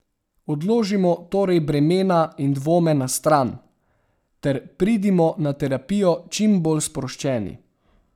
Odložimo torej bremena in dvome na stran, ter pridimo na terapijo čimbolj sproščeni.